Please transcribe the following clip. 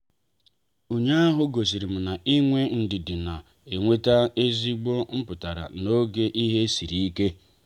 ụnyaahụ gosirim na-inwe ndidi na-enweta ezigbo mputara n'oge ihe sịrị ike.